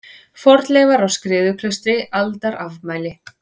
Fornleifar á Skriðuklaustri Aldarafmæli.